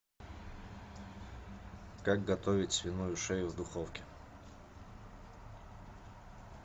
как готовить свиную шею в духовке